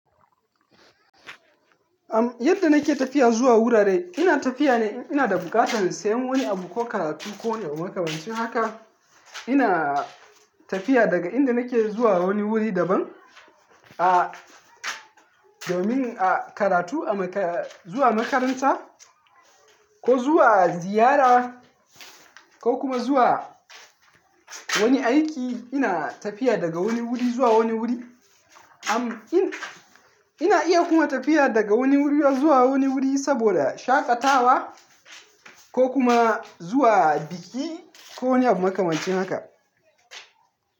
Am, yadda nake tafiya zuwa wurare, ina tafiya ne ina da buƙatar siyan wani abu ko karatu ko wani abu makamancin haka. Ina tafiya daga inda nake zuwa wani wuri daban a domin a karatu a maka-- zuwa makaranta ko zuwa ziyara ko kuma zuwa wani aiki. Ina tafiya daga wani wuri zuwa wani wuri. Am in-- ina iya kuma tafiya daga wani wuri zuwa wani wuri saboda shaƙatawa ko kuma zuwa biki ko wani abu makamancin haka.